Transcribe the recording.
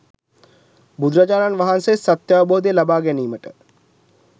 බුදුරජාණන් වහන්සේ සත්‍යාවබෝධය ලබා ගැනීමට